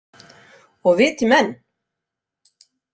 Og viti menn!